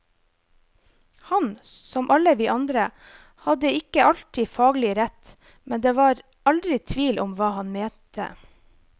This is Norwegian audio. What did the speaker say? Han, som alle vi andre, hadde ikke alltid faglig rett, men det var aldri tvil om hva han mente.